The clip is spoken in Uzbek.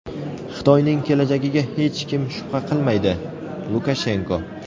Xitoyning kelajagiga hech kim shubha qilmaydi — Lukashenko.